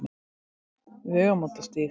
Vegamótastíg